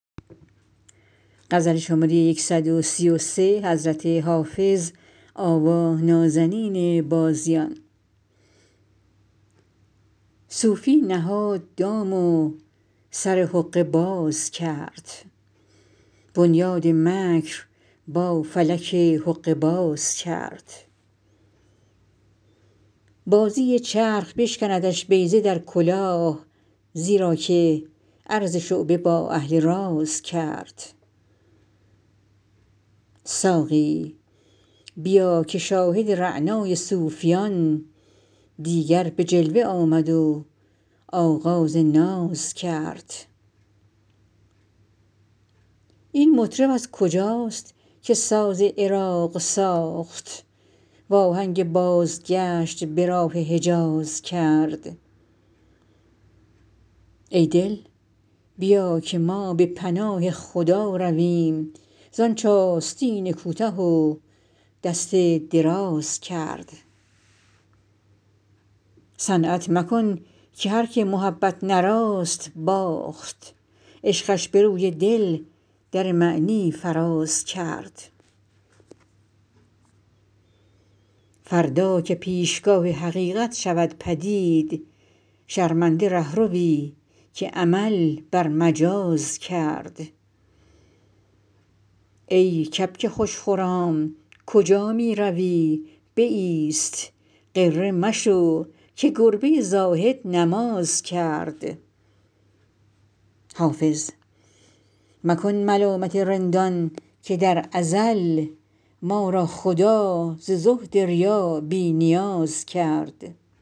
صوفی نهاد دام و سر حقه باز کرد بنیاد مکر با فلک حقه باز کرد بازی چرخ بشکندش بیضه در کلاه زیرا که عرض شعبده با اهل راز کرد ساقی بیا که شاهد رعنای صوفیان دیگر به جلوه آمد و آغاز ناز کرد این مطرب از کجاست که ساز عراق ساخت وآهنگ بازگشت به راه حجاز کرد ای دل بیا که ما به پناه خدا رویم زآنچ آستین کوته و دست دراز کرد صنعت مکن که هرکه محبت نه راست باخت عشقش به روی دل در معنی فراز کرد فردا که پیشگاه حقیقت شود پدید شرمنده رهروی که عمل بر مجاز کرد ای کبک خوش خرام کجا می روی بایست غره مشو که گربه زاهد نماز کرد حافظ مکن ملامت رندان که در ازل ما را خدا ز زهد ریا بی نیاز کرد